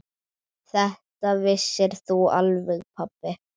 Þetta vissir þú alveg pabbi.